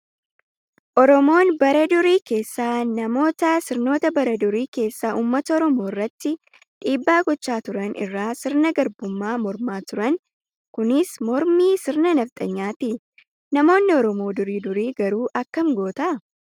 Oromoon bara durii keessa namoota sirnoota bara durii keessa uummata oromoo irratti dhiibbaa gochaa turan irraa sirna garbummaa mormaa turan. Kunis mormii sirna nafxanyaati. Namoonni oromoo durii durii garuu akkam goota.